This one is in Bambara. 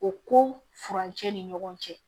O ko furancɛ ni ɲɔgɔn cɛ